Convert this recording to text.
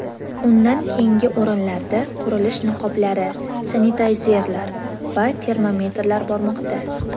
Undan keyingi o‘rinlarda qurilish niqoblari, sanitayzerlar va termometrlar bormoqda.